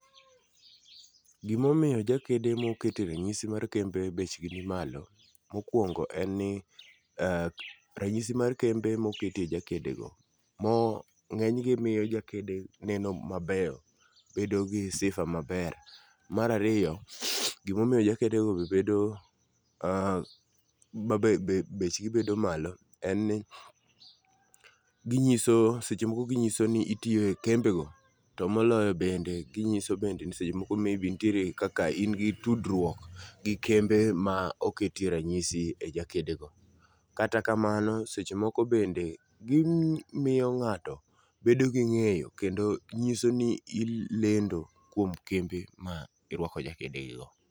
Gimomiyo jakede mokete ranyisi mar kembe bechgi ni malo. Mokwongo en ni eh ranyisi mar kembe moketie jakede go, mo ng'eny gi miyo jakede neno mabeyo, bedo gi sifa maber. Marariyo, gimomiyo jakede go be bedo ah ma be bechgi bedo malo en ni ginyiso, seche moko ginyiso ni itiye kembe go. To moloyo bende ginyiso bende ni seche moko maybe ntiere kaka in gi tudruok gi kembe ma oketie ranyisi go. Kata kamano, seche moko bende gimiyo ng'ato bedo gi ng'eyo kendo nyiso ni ilendo kuom kembe ma irwako jakede gi go.